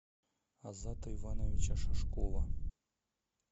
азата ивановича шашкова